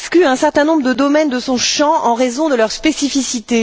un certain nombre de domaines de son champ en raison de leurs spécificités.